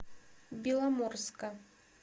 беломорска